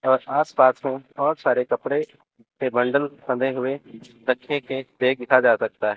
अ आस पास तो बहोत सारे कपड़े के बंडल बंदे हुए रखे के देखा जा सकता हैं।